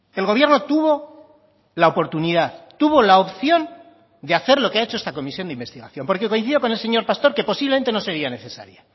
el gobierno tuvo la oportunidad tuvo la opción de hacer lo que ha hecho esta comisión de investigación porque coincido con el señor pastor que posiblemente no sería necesaria